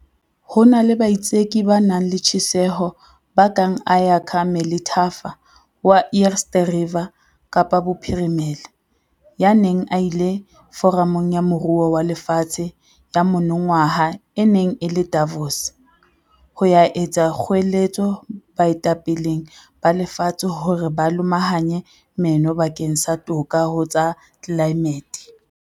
Ho na le baitseki ba nang le tjheseho ba kang Ayakha Melithafa wa Eerste Rivier Kapa Bophirimela, ya neng a ile Foramong ya Moruo wa Lefatshe ya monongwaha e neng e le Davos, ho ya etsa kgoeletso baetapeleng ba lefatshe hore ba lomahanye meno bakeng sa toka ho tsa tlelaemete.